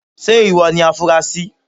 Ṣé ìwọ ni afunrasí.?.